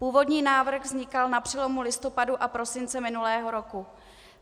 Původní návrh vznikal na přelomu listopadu a prosince minulého roku.